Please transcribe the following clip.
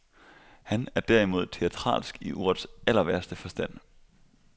Han er derimod teatralsk i ordets allerværste forstand.